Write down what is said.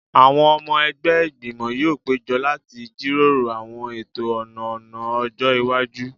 Àwọn ọmọ ẹgbẹ́ Ìgbìmọ̀ yóò péjọ láti jíròrò àwọn ètò ọ̀nà ọ̀nà ọjọ́ iwájú